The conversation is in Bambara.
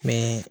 Ni